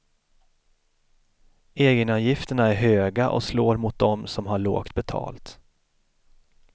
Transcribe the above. Egenavgifterna är höga och slår mot dom som har lågt betalt.